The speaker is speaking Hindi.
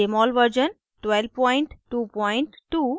jmol version 1222